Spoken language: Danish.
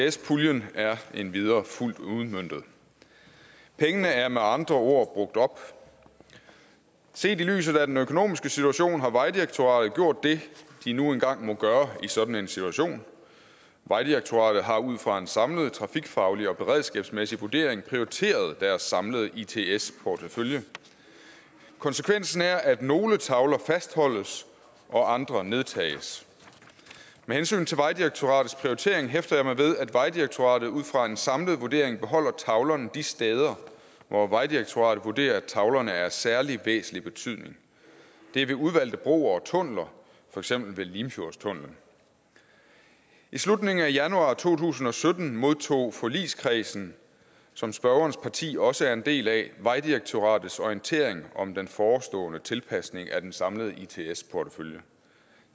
its puljen er endvidere fuldt udmøntet pengene er med andre ord brugt op set i lyset af den økonomiske situation har vejdirektoratet gjort det de nu engang må gøre i sådan en situation vejdirektoratet har ud fra en samlet trafikfaglig og beredskabsmæssig vurdering prioriteret deres samlede its its portefølje konsekvensen er at nogle tavler fastholdes og andre nedtages med hensyn til vejdirektoratets prioritering hæfter jeg mig ved at vejdirektoratet ud fra en samlet vurdering beholder tavlerne de steder hvor vejdirektoratet vurderer at tavlerne er af særlig væsentlig betydning det er ved udvalgte broer og tunneler for eksempel ved limfjordstunnelen i slutningen af januar to tusind og sytten modtog forligskredsen som spørgerens parti også er en del af vejdirektoratets orientering om den forestående tilpasning af den samlede its portefølje